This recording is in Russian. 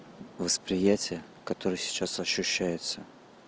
восприятие который сейчас ощущается